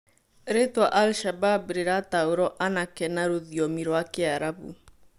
Rĩtwa al- shabab rĩrataũrwo anake na rũthiomi rwa kiarabu